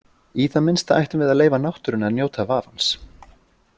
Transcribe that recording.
Í það minnsta ættum við að leyfa náttúrunni að njóta vafans.